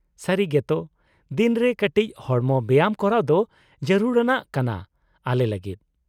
-ᱥᱟᱹᱨᱤᱜᱮ ᱛᱚ ᱫᱤᱱ ᱨᱮ ᱠᱟᱴᱤᱡ ᱦᱚᱲᱢᱚ ᱵᱮᱭᱟᱢ ᱠᱚᱨᱟᱣ ᱫᱚ ᱡᱟᱨᱩᱲᱟᱱᱟᱜ ᱠᱟᱱᱟ ᱟᱞᱮ ᱞᱟᱹᱜᱤᱫ ᱾